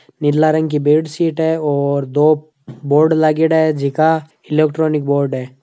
नीला रंग कि बेडसीट है औरदो बोर्ड लाग्योड़ा है जीका इलेक्ट्रॉनिक बोर्ड है।